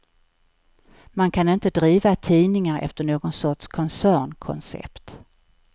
Man kan inte driva tidningar efter någon sorts koncernkoncept.